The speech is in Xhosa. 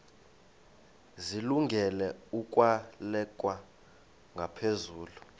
zilungele ukwalekwa ngaphezulu